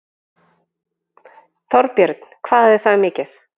Þorbjörn: Hvað er það mikið?